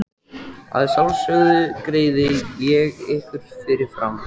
Að sjálfsögðu greiði ég ykkur fyrir fram.